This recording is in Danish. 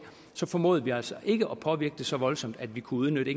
så formåede vi altså ikke at påvirke den så voldsomt at vi kunne udnytte